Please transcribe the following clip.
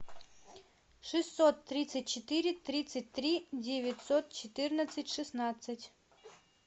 шестьсот тридцать четыре тридцать три девятьсот четырнадцать шестнадцать